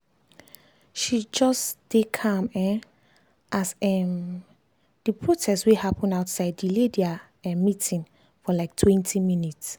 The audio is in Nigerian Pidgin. she just dey calm um as um as the protest wey happen outside delay their um meeting for liketwentyminutes